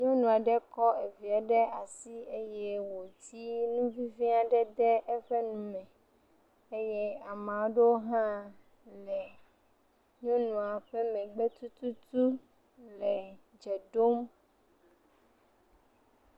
Nyɔnu aɖe kɔ eviɛ ɖe asi eye wòdi nuvivi aɖe de eƒe nume eye ama ɖewo hã le nyɔnua ƒe megbe tututu le dze ɖom.